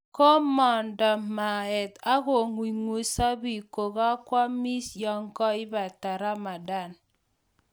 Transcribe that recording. Komondo maet ak kong'ungso biiik kongoamis yekoibata Ramadhan